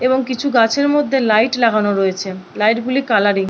এবং কিছু গাছের মধ্যে লাইট লাগানো রয়েছে লাইট -গুলি কালারিং ।